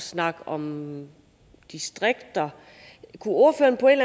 snakke om distrikter kunne ordføreren på en